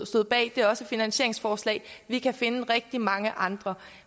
stod bag det er også et finansieringsforslag vi kan finde rigtig mange andre